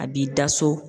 A b'i da so